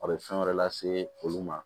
A bɛ fɛn wɛrɛ lase olu ma